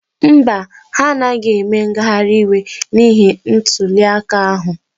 Mba, ha anaghị eme ngagharị iwe n'ihi ntuliaka ahụ.